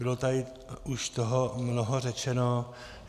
Bylo tady už toho mnoho řečeno.